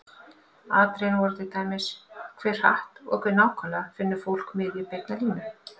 Atriðin voru til dæmis: Hve hratt og hve nákvæmlega finnur fólk miðju beinnar línu?